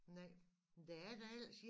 Nej men der er da ellers